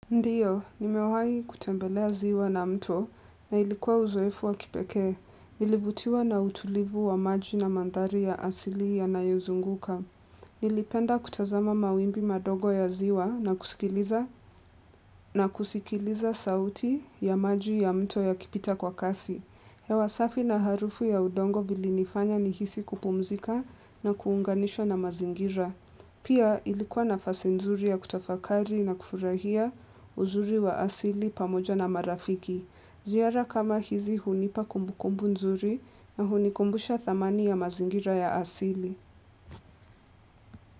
Ndiyo, nimewahi kutembelea ziwa na mto na ilikuwa uzoefu wa kipekee. Nilivutiwa na utulivu wa maji na madhari ya asili yanayo zunguka. Nilipenda kutazama mawimbi madogo ya ziwa na kusikiliza sauti ya maji ya mto yakipita kwa kasi. Hewa safi na harufu ya udongo vili nifanya ni hisi kupumzika na kuunganishwa na mazingira. Pia ilikuwa nafasi nzuri ya kutafakari na kufurahia uzuri wa asili pamoja na marafiki. Ziara kama hizi hunipa kumbukumbu nzuri na hunikumbusha thamani ya mazingira ya asili.